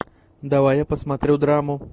давай я посмотрю драму